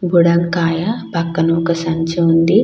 బుడంకాయ పక్కన ఒక సంచి ఉంది.